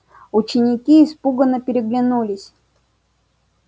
ученики испуганно переглянулись